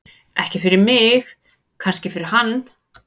Ekki fyrir mig, kannski fyrir hann.